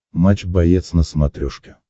матч боец на смотрешке